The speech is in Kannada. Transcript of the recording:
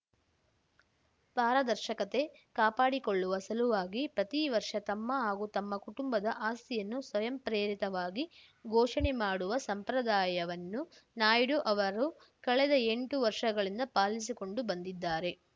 ಪಾರದರ್ಶಕತೆ ಕಾಪಾಡಿಕೊಳ್ಳುವ ಸಲುವಾಗಿ ಪ್ರತಿ ವರ್ಷ ತಮ್ಮ ಹಾಗೂ ತಮ್ಮ ಕುಟುಂಬದ ಆಸ್ತಿಯನ್ನು ಸ್ವಯಂಪ್ರೇರಿತವಾಗಿ ಘೋಷಣೆ ಮಾಡುವ ಸಂಪ್ರದಾಯವನ್ನು ನಾಯ್ಡು ಅವರು ಕಳೆದ ಎಂಟು ವರ್ಷಗಳಿಂದ ಪಾಲಿಸಿಕೊಂಡು ಬಂದಿದ್ದಾರೆ